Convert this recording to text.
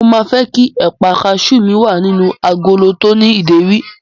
Mo máa fẹ́ kí ẹ̀pà kasú mi wà nínú agolo tó ní ìdérí.